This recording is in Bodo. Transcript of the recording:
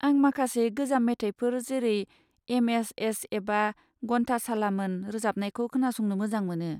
आं माखासे गोजाम मेथाइफोर जेरै एम.एस.एस एबा गन्थासालामोन रोजाबनायखौ खोनासंनो मोजां मोनो।